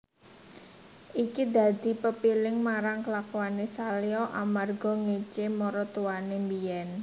Iki dadi pepiling marang kelakuané Salya amarga ngécé maratuwané mbiyèn